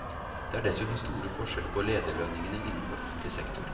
Det er dessuten store forskjeller på lederlønningene innen offentlig sektor.